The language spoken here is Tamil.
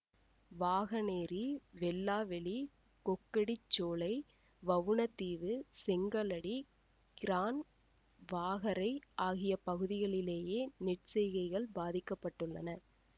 வாகனேரி வெல்லாவெளி கொக்கட்டிச்சோலை வவுணதீவு செங்கலடி கிரான் வாகரை ஆகிய பகுதிகளிலேயே நெற் செய்கைகள் பாதிக்க பட்டுள்ளன